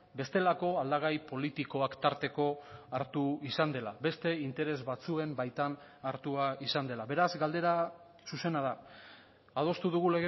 bestelako aldagai politikoak tarteko hartu izan dela beste interes batzuen baitan hartua izan dela beraz galdera zuzena da adostu dugu